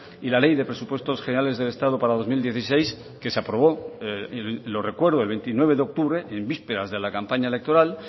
y la ley de presupuestos generales del estado para dos mil dieciséis que se aprobó lo recuerdo el veintinueve de octubre en vísperas de la campaña electoral